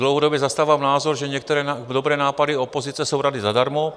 Dlouhodobě zastávám názor, že některé dobré nápady opozice jsou rady zadarmo.